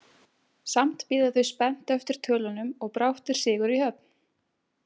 Samt bíða þau öll spennt eftir tölunum og brátt er sigur í höfn.